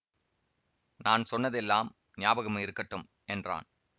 நான் சொன்னதெல்லாம் ஞாபகம் இருக்கட்டும் என்றான்